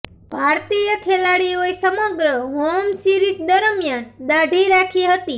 ભારતીય ખેલાડીઓએ સમગ્ર હોમ સીરિઝ દરમિયાન દાઢી રાખી હતી